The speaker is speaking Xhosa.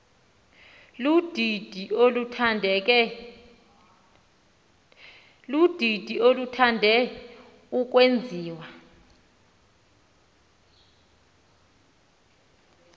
ludidi oluthande ukwenziwa